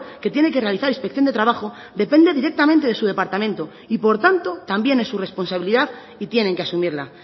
que tiene que realizar inspección de trabajo depende directamente de su departamento y por tanto también es su responsabilidad y tienen que asumirla